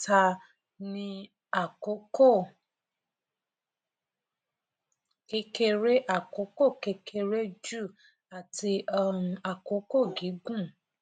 ìdókòwò mẹta ni àkókò kékeré àkókò kékeré ju àti um àkókò gígùn um